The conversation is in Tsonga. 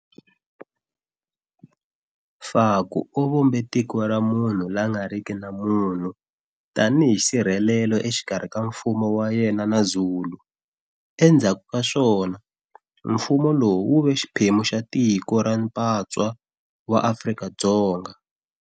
Faku u vumbe Tiko ra Munhu la nga riki na munhu tanihi nsirhelelo exikarhi ka mfumo wa yena na Zulu. Endzhaku ka swona, mfumo lowu wu ve xiphemu xa Tiko re mpatswa wa Afrika-Dzonga.